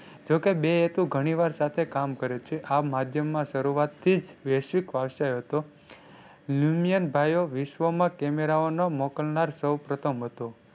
જો કે બે હેતુ ઘણી વાર સાથે કામ કરે છે. આ માધ્યમ માં શરૂઆત થી જ વૈશ્વિક હતો. ભાઈઓ વિશ્વમાં Camara ઓનો મોકલનાર સૌ પ્રથમ હતો.